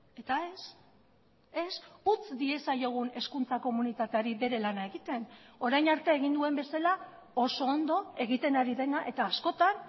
eta ez ez utz diezaiogun hezkuntza komunitateari bere lana egiten orain arte egin duen bezala oso ondo egiten ari dena eta askotan